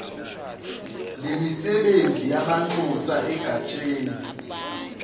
lemisebenzi yamanxusa egatsheni